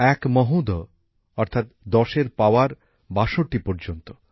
এক মহোঘ অর্থাৎ ১০এর পাওয়ার ৬২ পর্যন্ত